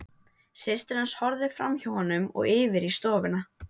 Systir hans horfði framhjá honum og yfir í stofuna.